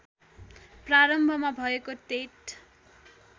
प्रारम्भमा भएको टेट